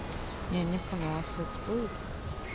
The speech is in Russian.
я не понял а секс будет